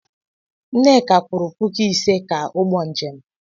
Nneka kwụrụ puku ise ka ụgbọ njem.